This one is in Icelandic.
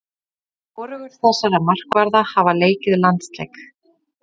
Hvorugur þessara markvarða hafa leikið landsleik.